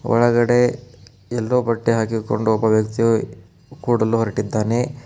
ಒಳಗಡೆ ಎಲ್ಲೋ ಬಟ್ಟೆ ಹಾಕಿಕೊಂಡು ಒಬ್ಬ ವ್ಯಕ್ತಿಯು ಕೂಡಲು ಹೊರಟಿದ್ದಾನೆ.